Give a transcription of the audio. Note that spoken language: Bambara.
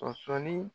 Sɔsɔɔni